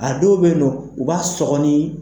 A dɔw bɛ ye nɔ, u b'a sɔkɔni.